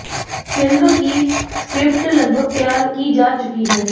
film की script लगभग तैयार की जा चुकी है